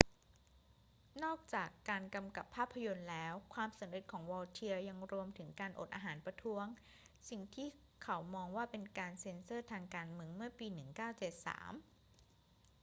นอกจากการกำกับภาพยนตร์แล้ว ความสำเร็จของ vautier ยังรวมถึงการอดอาหารประท้วงสิ่งที่เขามองว่าเป็นการเซ็นเซอร์ทางการเมืองเมื่อปี 1973